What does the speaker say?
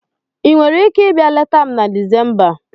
Ị nwere ike ịbịa leta m na Disemba?